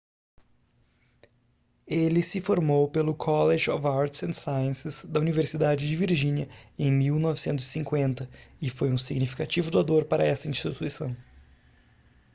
ele se formou pelo college of arts & sciences da universidade de virgínia em 1950 e foi um significativo doador para essa instituição